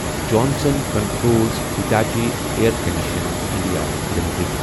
Johnson controls Hitachi air condition India limited